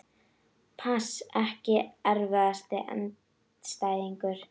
pass Ekki erfiðasti andstæðingur?